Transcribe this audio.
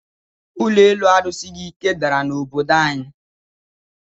Ụlọ elu a rusighi ike dàrà na obodo anyi